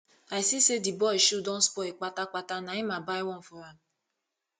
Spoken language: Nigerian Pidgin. i see sey di boy shoe don spoil kpatakpata na im i buy one for am